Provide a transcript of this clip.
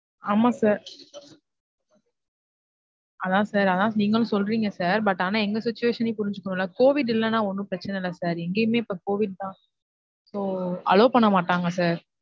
ஆமா sir அதான் sir அதான் நீங்களும் சொல்றிங்க sir but ஆனா எங்க situation னையும் புரிஞ்சுக்கனும்ல. COVID இல்லைனா ஒன்னும் பிரச்சனை இல்ல sir எங்கேயுமே இப்ப COVID னா so allow பண்ணமாட்டாங்க sir.